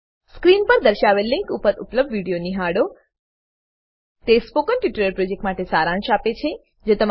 screen પર દર્શાવેલ link પર ઉપલબ્ધ વિડીયો નિહાળોL httpspoken tutorialorgWhat is a Spoken Tutorial તે સ્પોકન ટ્યુટોરીયલ પ્રોજેક્ટનો સારાંશ આપે છે